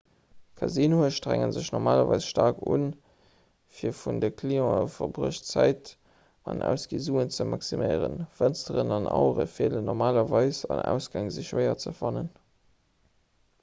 casinoe strenge sech normalerweis staark un fir vun de clientë verbruecht d'zäit an ausgi suen ze maximéieren fënsteren an auere feelen normalerweis an ausgäng si schwéier ze fannen